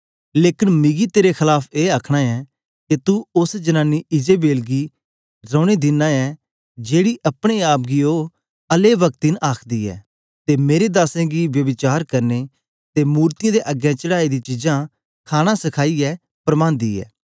लेकन मिगी तेरे खलाफ ए आखना ऐ के तू उस्स जनानी इजेबेल गी रैने दिना ऐ जेकी अपने आप गी औने अलेव्क्तिन आखदी ऐ ते मेरे दासें गी ब्यभिचार करने ते अते मूरतयें दे अग्गें चढ़ाई दी चीजां खाणा सखाइयै परमांदी ऐ